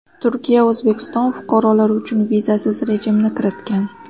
Turkiya O‘zbekiston fuqarolari uchun vizasiz rejimni kiritgan.